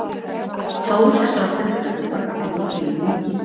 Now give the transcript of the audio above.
Fáir þessara texta eru varðveittir í heilu líki.